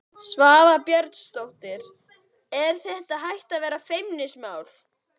Svava Björnsdóttir: Er þetta hætt að vera feimnismál?